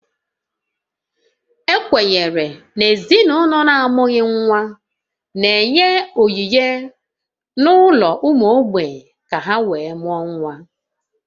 Ekwenyere na ezinaụlọ na-amụghị nwa n'enye onyinye n'ụlọ ụmụ mgbei ka ha wee mụọ nwa